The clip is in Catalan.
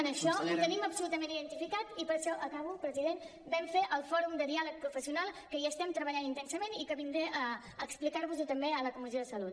en això ho tenim absolutament identificat acabo president i per això vam fer el fòrum de diàleg professional que hi estem treballant intensament i que vindré a explicar vos ho també a la comissió de salut